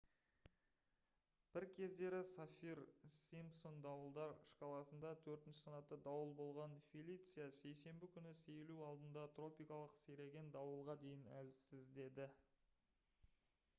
бір кездері саффир-симпсон дауылдар шкаласында 4-санатты дауыл болған «фелиция» сейсенбі күні сейілу алдында тропикалық сиреген дауылға дейін әлсіздеді